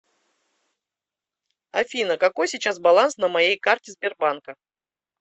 афина какой сейчас баланс на моей карте сбербанка